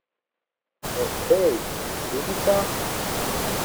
Okej, ljubica?